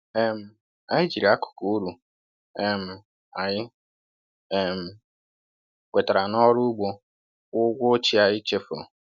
um Anyị jiri akụkụ uru um anyị um nwetara n’ọrụ ugbo kwụọ ụgwọ ochie anyị chefuru.